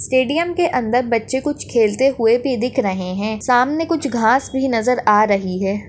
Stadium के अंदर बच्चे कुछ खेलते हुए भी दिख रहें है सामने कुछ घाँस भी नजर आ रही है।